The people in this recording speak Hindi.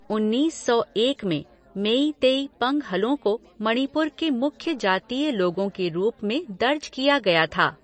उन्नीस सौ एक में मेईतेई पंगहलों को मणिपुर के मुख्य जातीय लोगों के रूप में दर्ज किया गया था।